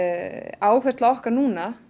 áhersla okkar núna